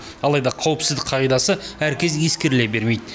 алайда қауіпсіздік қағидасы әркез ескеріле бермейді